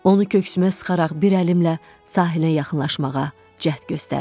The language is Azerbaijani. Onu köksümə sıxaraq bir əlimlə sahilə yaxınlaşmağa cəhd göstərdim.